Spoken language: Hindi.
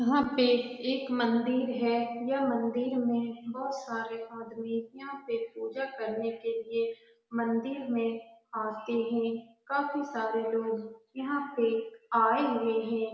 यहां पर एक मंदिर है यह मंदिर में बहुत सारे आदमी पूजा करने के लिए मंदिर में आते हैं काफी सारे लोग यहां पे आए हुए हैं।